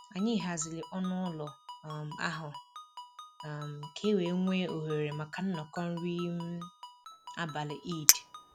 Anyị haziri ọnụ ụlọ um ahụ um ka e nwee ohere maka nnọkọ nri um abalị Eid